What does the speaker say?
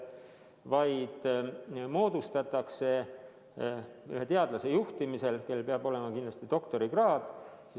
Töörühm moodustatakse ühe teadlase juhtimisel, kellel peab olema kindlasti doktorikraad.